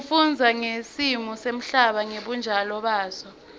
kufundza ngesimo semhlaba ngebunjalo baso